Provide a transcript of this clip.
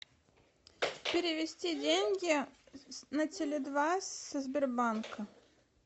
перевести деньги на теле два со сбербанка